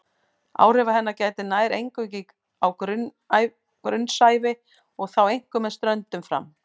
Áhrifa hennar gætir nær eingöngu á grunnsævi og þá einkum með ströndum fram.